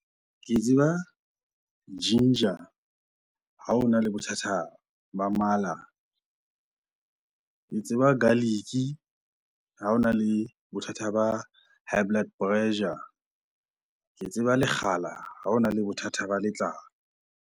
Ke tseba ginger ha ona le bothata ba mala. Ke tseba garlic ha ona le bothata ba high blood pressure. Ke tseba lekgala ha ona le bothata ba letlao.